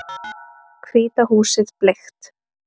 Hvíta húsið bleikt